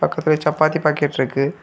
பக்கத்துல சப்பாத்தி பாக்கெட் இருக்கு.